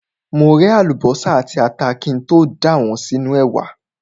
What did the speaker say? Mo ré àlùbọ́sà àti ata kí n tó dà wọ́n sínú ẹ̀wà.